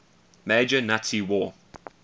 major nazi war